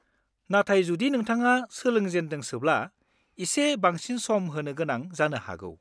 नाथाय जुदि नोंथाङा सोलोंजेनदोंसोब्ला, एसे बांसिन सम होनो गोनां जानो हागौ।